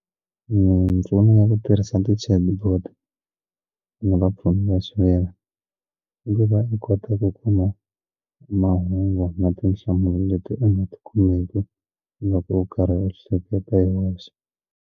Mimpfuno ya ku tirhisa ti-chatbot na vapfuni va xiviri i va va kota ku kuma mahungu na tinhlamulo leti u nga ti kumeki loko u karhi u hleketa hi wexe.